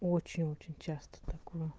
очень очень часто такое